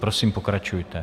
Prosím, pokračujte.